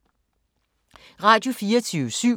Radio24syv